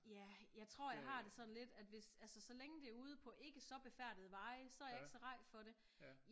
Ja jeg tror jeg har det sådan lidt at hvis altså så længe det er ude på ikke så befærdede veje så er jeg ikke så ræd for det